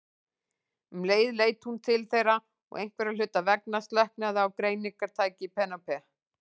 Um leið leit hún til þeirra og einhverra hluta vegna slöknaði á greiningartæki Penélope.